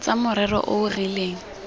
tsa morero o o rileng